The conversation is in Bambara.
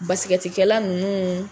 Basikɛtikɛla nunnu